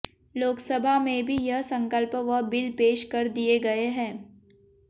लोकसभा में भी यह संकल्प व बिल पेश कर दिए गये हैं